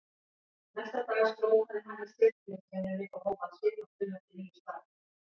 Næsta dag skrópaði hann í setuliðsvinnunni og hóf að svipast um eftir nýju starfi.